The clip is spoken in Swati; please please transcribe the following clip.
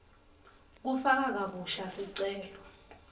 kufaka kabusha sicelo